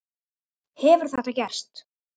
Hefur þetta gerst?